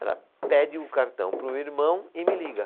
Ela pede o cartão para o irmão e me liga.